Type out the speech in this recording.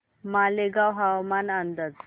मालेगाव हवामान अंदाज